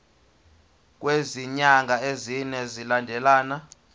kwezinyanga ezine zilandelana